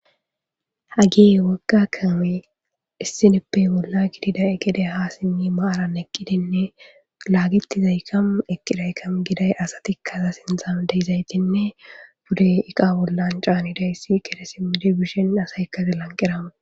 hagie wagga kame issinippey bolla gidida egede ha simmi maaran eqqidinne laagitizaykamu eqqidaykam giday asatikkaza sinzam deyizaytinne bude iqa bollan caanidayssi kede simmidibishin asaykka zilanqirame